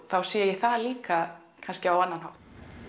þá sé ég það líka kannski á annan hátt